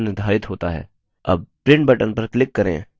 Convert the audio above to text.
अब print button पर click करें